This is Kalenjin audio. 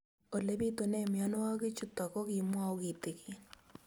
Ole pitune mionwek chutok ko kimwau kitig'�n